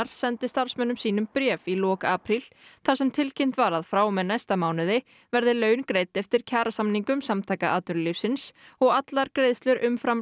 sendi starfsmönnum sínum bréf í lok apríl þar sem tilkynnt var að frá og með næsta mánuði verði laun greidd eftir kjarasamningum Samtaka atvinnulífsins og allar greiðslur umfram